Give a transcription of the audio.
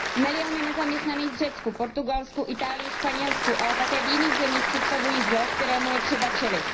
Miliony nezaměstnaných v Řecku, Portugalsku, Itálii, Španělsku, ale také v jiných zemích představují zlo, kterému je třeba čelit.